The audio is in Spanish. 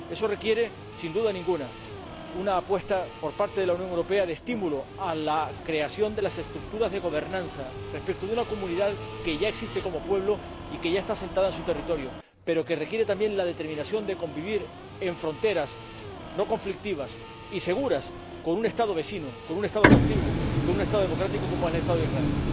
Eso requiere, sin duda ninguna, una apuesta por parte de la Unión Europea de estímulo a la creación de las estructuras de gobernanza en una comunidad que ya existe como pueblo y que ya está asentada en su territorio, pero que requiere también la determinación de convivir en fronteras no conflictivas y seguras con un Estado vecino, con un Estado contiguo y con un Estado democrático, como es el Estado de Israel.